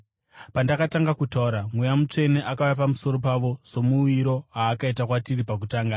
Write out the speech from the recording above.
“Pandakatanga kutaura, Mweya Mutsvene akauya pamusoro pavo samauyiro aakaita kwatiri pakutanga.